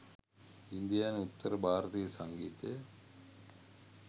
ඉන්දියානු උත්තර භාරතීය සංගීතය